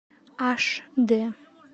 аш д